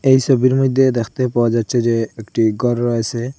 এই সোবির মইধ্যে দেখতে পাওয়া যাচ্ছে যে একটি গর রয়েসে।